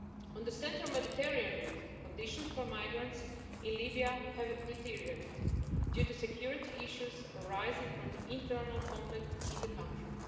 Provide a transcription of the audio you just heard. On the central Mediterranean route, conditions for migrants in Libya have deteriorated due to security issues arising from the internal conflict in the country.